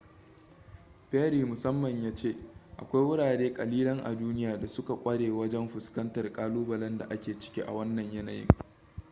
perry musamman ya ce akwai wurare kalilan a duniya da suka kware wajen fuskantar kalubalen da ake ciki a wannan yanayin